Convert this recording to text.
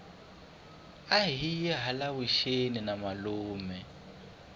ahiye hala vuxeni na malume